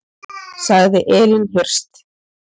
Sagði Elín Hirst.